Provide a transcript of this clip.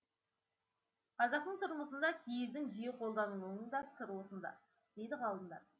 қазақтың тұрмысында киіздің жиі қолданылуының да сыры осында дейді ғалымдар